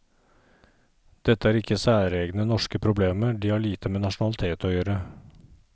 Dette er ikke særegne norske problemer, de har lite med nasjonalitet å gjøre.